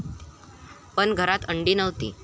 पण घरात अंडी नव्हती.